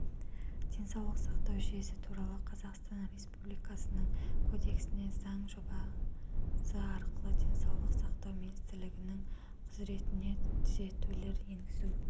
денсаулық сақтау жүйесі туралы қазақстан республикасының кодексіне заң жобасыарқылы денсаулық сақтау министрлігінің құзыретіне түзетулер енгізу